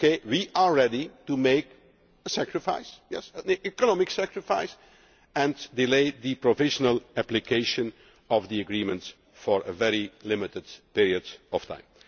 We are ready to make a sacrifice yes, an economic sacrifice and delay the provisional application of the agreement for a very limited period of time.